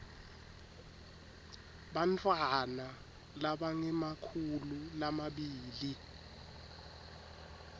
bantfwana labangemakhulu lamabili